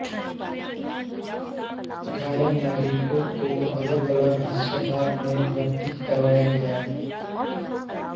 घायल नागरिकों को अलगअलग अस्पतालों में भर्ती करवाया गया